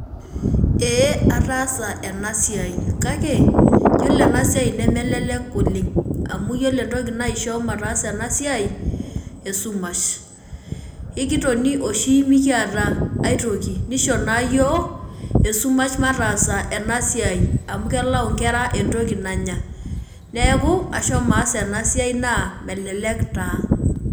Ee ataasa enasiai kake yiolo enasiai nemelelek oleng amu yiolo entoki naisho mataasa enasiai esumash ekitoni oshi mekiata ai toki nisho na yiok esumash mataas enasiai amu kelau nkera entoki nanya neaku ashomo aas enasiai na melelek taa.